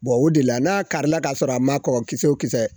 Bon o de la, n'a kari la, k'a sɔrɔ a ma kɔkɔ kisɛ o kisɛ